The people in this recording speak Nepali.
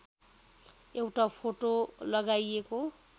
एउटा फोटो लगाइएको